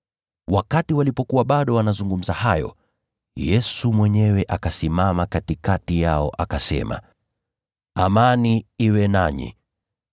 Walipokuwa bado wanazungumza hayo, Yesu mwenyewe akasimama katikati yao, akasema, “Amani iwe nanyi!”